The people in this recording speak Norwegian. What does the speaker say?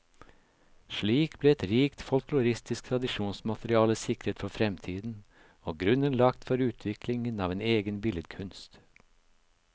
Slik ble et rikt folkloristisk tradisjonsmateriale sikret for fremtiden, og grunnen lagt for utviklingen av en egen billedkunst.